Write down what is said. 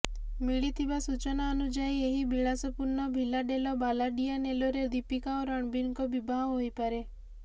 ମିଳିଥିବା ସୂଚନା ଅନୁଯାୟୀ ଏହି ବିଳାସପୂର୍ଣ୍ଣ ଭିଲା ଡେଲ ବାଲାଡିୟାନେଲୋ ରେ ଦୀପିକା ଓ ରଣବୀରଙ୍କ ବିବାହ ହୋଇପାରେ